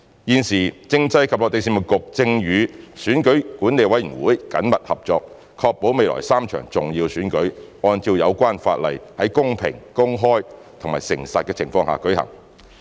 現時，政制及內地事務局正與選舉管理委員會緊密合作，確保未來3場重要選舉按照有關法例，在公平、公開和誠實的情況下舉行。